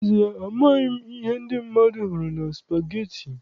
N'ezie, amaghị m ihe ndị mmadụ hụrụ na spageti.